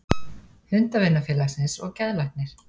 Hundavinafélagsins og geðlæknir.